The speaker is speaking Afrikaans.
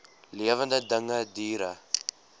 lewende dinge diere